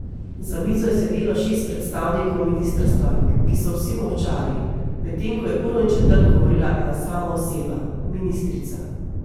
Za mizo je sedelo šest predstavnikov ministrstva, ki so vsi molčali, medtem ko je uro in četrt govorila ena sama oseba, ministrica.